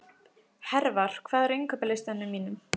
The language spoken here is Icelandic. Hervar, hvað er á innkaupalistanum mínum?